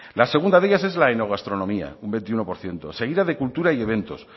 la segunda de ellas es la enogastronomía un veintiuno por ciento seguida de cultura y eventos